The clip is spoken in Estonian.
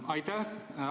Aitäh!